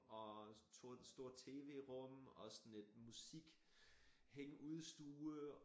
Og stor TV rum og sådan et musik hængeudstue